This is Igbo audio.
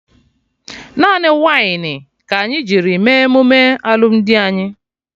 Naanị wainị ka anyị jiri mee emume alụmdi anyị